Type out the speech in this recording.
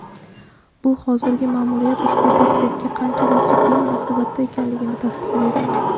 bu hozirgi ma’muriyat ushbu tahdidga qanchalik jiddiy munosabatda ekanligini tasdiqlaydi.